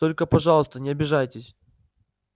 только пожалуйста не обижайтесь